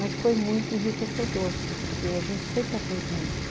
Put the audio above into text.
Mas foi muito enriquecedor, porque a gente sempre aprende muito.